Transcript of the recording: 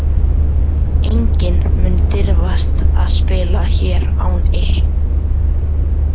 Enginn mun dirfast að spila hér án ykkar leyfis.